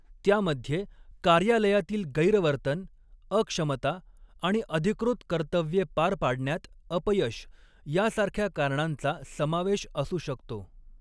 त्यामध्ये कार्यालयातील गैरवर्तन, अक्षमता आणि अधिकृत कर्तव्ये पार पाडण्यात अपयश यासारख्या कारणांचा समावेश असू शकतो.